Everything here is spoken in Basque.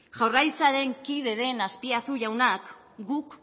jaurlaritzaren kide den azpiazu jaunak guk